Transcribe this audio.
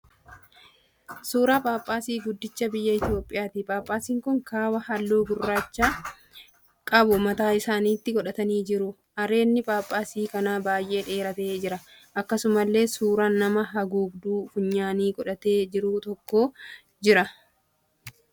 Suuraa Paappaasii guddicha biyya Itiyoopiyaati. Phaaphaasiin kun kaabbaa halluu gurraacha qabu mataa isaniitti godhatanii jiru. Areedni Phaaphaasii kanaa baay'ee dheeratee jira. Akkasumallee suuraan nama haguugduu funyaanii godhatee jiru tokko jira.